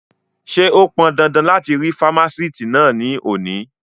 Ṣé ó pọndandan láti rí fámásìtì náà ní òní?